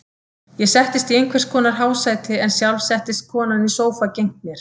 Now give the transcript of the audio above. Ég settist í einhvers konar hásæti en sjálf settist konan í sófa gegnt mér.